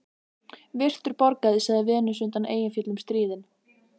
Virtur borgari, sagði Venus undan Eyjafjöllum stríðin.